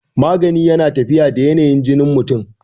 magani yana tafiya da yanayin jinin mutum